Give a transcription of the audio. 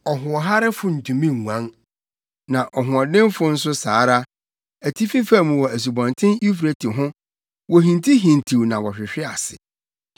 Ɔhoɔharefo ntumi nguan, na ɔhoɔdenfo nso saa ara. Atifi fam wɔ Asubɔnten Eufrate ho wohintihintiw na wɔhwehwe ase.